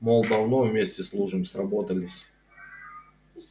мол давно вместе служим сработались